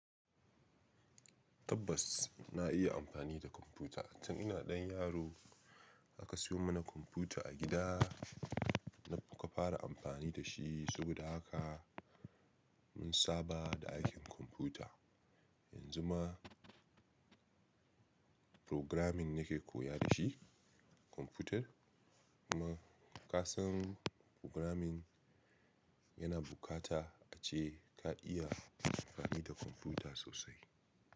Tabbas na iya amfani da kwamfuta, tun ina ɗan yaro. Aka siyo mana kwamfuta a gida, muka fara amfani da shi saboda haka. Mun saba da aikin kwamfuta. Yanzu ma programming nake koya da shi kwamfutar kuma ka san programming. Yana bukata ace ka iya amfani da kwamfuta sosai.